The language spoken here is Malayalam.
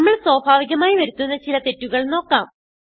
നമ്മൾ സ്വാഭാവികമായി വരുത്തുന്ന ചില തെറ്റുകൾ നോക്കാം